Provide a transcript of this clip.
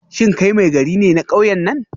Shin kai Maigari ne na kauyen nan?